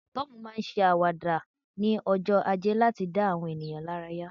Tom ma n se awada ni ojo aje lati da awọn ènìyàn laraya